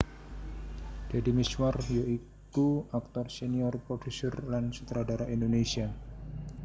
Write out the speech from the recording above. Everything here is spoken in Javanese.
Deddy Mizwar ya iku aktor senior produser lan sutradara Indonesia